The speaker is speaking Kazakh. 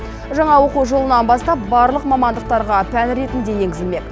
жаңа оқу жылынан бастап барлық мамандықтарға пән ретінде енгізілмек